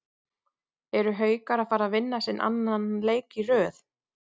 ERU HAUKAR AÐ FARA AÐ VINNA SINN ANNAN LEIK Í RÖÐ???